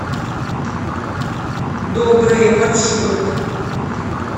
доброе маршрут